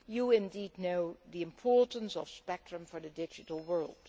We know the importance of spectrum for the digital world.